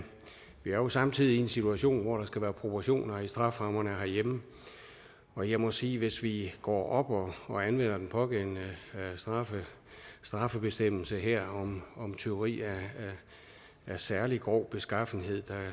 jo samtidig i en situation hvor der skal være proportioner i strafferammerne herhjemme og jeg må sige at hvis vi går op og og anvender den pågældende straffebestemmelse her om tyveri af særlig grov beskaffenhed der